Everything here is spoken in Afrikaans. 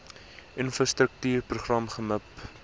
infrastruktuur program gmip